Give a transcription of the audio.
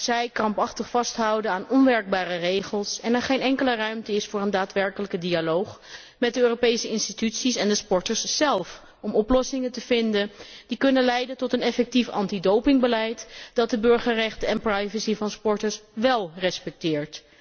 Zij houden krampachtig vast aan onwerkbare regels en er is geen enkele ruimte voor een daadwerkelijke dialoog met de Europese instellingen en de sporters zelf, om oplossingen te vinden die kunnen leiden tot een effectief antidopingbeleid dat de burgerrechten en privacy van sporters wél respecteert.